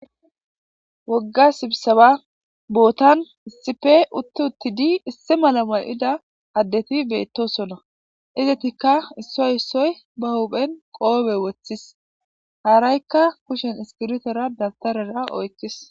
Wogga sibsaba bootan issipe utti uttidi isse mala mal'ida addeti beettosona izatikka issoy issoy bahuphen qoobe woththis haaraykka kushen iskirutera dabtarera oykkis.